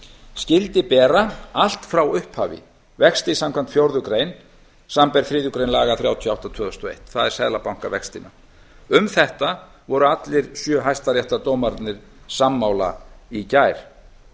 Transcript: skyldi bera allt frá upphafi vexti samkvæmt fjórðu grein samanber þriðju grein laga númer þrjátíu og átta tvö þúsund og eitt það er seðlabankavextina um þetta voru allir sjö hæstaréttardómararnir sammála í gær